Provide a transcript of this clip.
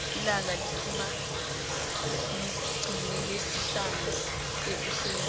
ilanga liphuma ngeliixi lesihlanu ekuseni